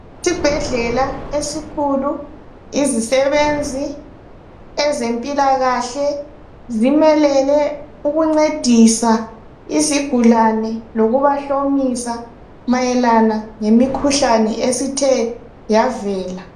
Isibhedlela esikhulu izisebenzi zempilakahle zimelele ukungcedisa izigulani lokubahlomisa mayelana lemikhuhlane esithe yavela